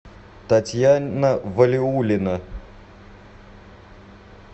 татьяна валиуллина